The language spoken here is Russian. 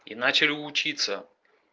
и начали учиться